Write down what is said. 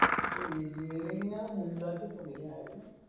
ബിരിയാണിക്ക് ഞാൻ ഇണ്ടാക്കലിണ്ട് ബിരിയാണി